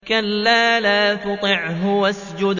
كَلَّا لَا تُطِعْهُ وَاسْجُدْ وَاقْتَرِب ۩